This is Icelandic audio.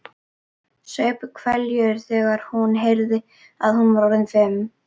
Saup hveljur þegar hún heyrði að hún var orðin fimm.